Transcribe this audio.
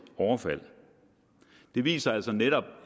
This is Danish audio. overfald det viser altså netop